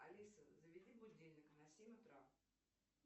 алиса заведи будильник на семь утра